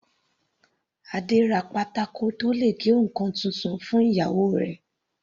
Adé ra pátákó tó le gé ǹkan titun fún ìyàwó rẹ̀.